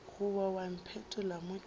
goba wa mpetolla mo ke